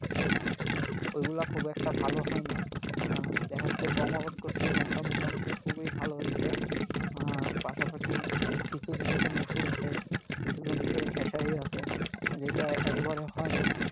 ওইগুলা খুব একটা ভালো হয়নাই । আহ দেখা যাচ্ছে গম আবাদ করেছি গমটা মোটামুটি খুবই ভালো হইসে আহ পাশাপাশি কিছু জমিতে মুসুর আছে কিছু জমিতে খেসারী আছে যেইটা একবারে হয়নাই।